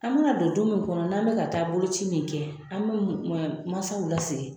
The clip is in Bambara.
An be na don du mun kɔnɔ n'an be ka taa bolo ci nin kɛ an be masaw lasigi